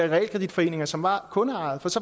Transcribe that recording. realkreditforeninger som var kundeejede for så